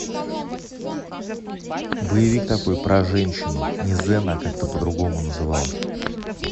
боевик такой про женщину не зена а как то по другому назывался